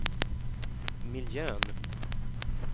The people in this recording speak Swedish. miljön